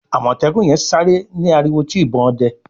Amọtẹkun yen sáré ni ariwo ti ìbọn òde